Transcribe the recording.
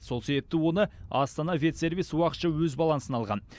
сол себепті оны астана ветсервис уақытша өз балансына алған